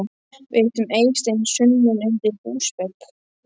Við hittum Eystein sunnan undir húsvegg.